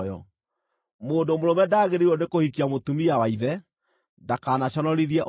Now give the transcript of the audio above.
Mũndũ mũrũme ndagĩrĩirwo nĩkũhikia mũtumia wa ithe; ndakanaconorithie ũrĩrĩ wa ithe.